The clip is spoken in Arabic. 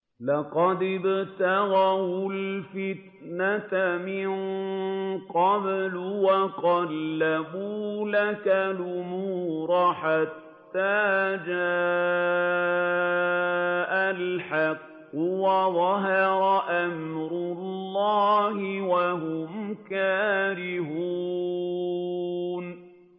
لَقَدِ ابْتَغَوُا الْفِتْنَةَ مِن قَبْلُ وَقَلَّبُوا لَكَ الْأُمُورَ حَتَّىٰ جَاءَ الْحَقُّ وَظَهَرَ أَمْرُ اللَّهِ وَهُمْ كَارِهُونَ